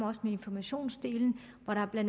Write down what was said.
også informationsdelen her har